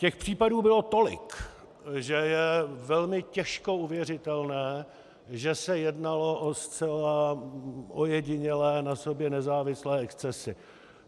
Těch případů bylo tolik, že je velmi těžko uvěřitelné, že se jednalo o zcela ojedinělé, na sobě nezávislé excesy.